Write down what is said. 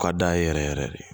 U ka d'a ye yɛrɛ yɛrɛ de